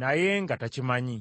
naye nga takimanyi.